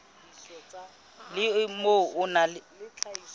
le o mong o na